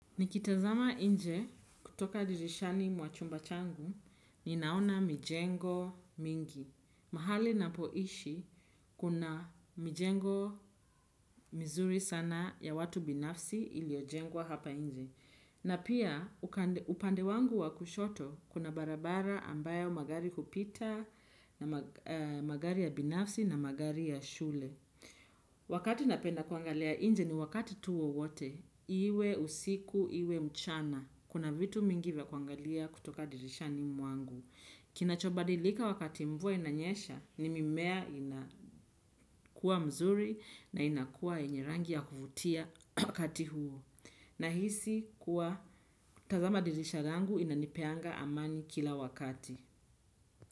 Nikitazama nje kutoka dirishani mwa chumba changu, ninaona mijengo mingi. Mahali napoishi, kuna mijengo mizuri sana ya watu binafsi iliyojengwa hapa nje. Na pia, upande wangu wa kushoto, kuna barabara ambayo magari hupita, magari ya binafsi na magari ya shule. Wakati napenda kuangalia nje ni wakati tu wowote, iwe usiku, iwe mchana. Kuna vitu mingi vya kuangalia kutoka dirishani mwangu. Kinachobadilika wakati mvua inanyesha ni mimea inakua mzuri na inakua yenye rangi ya kuvutia wakati huo. Nahisi kuwa tazama dirisha langu inanipeanga amani kila wakati.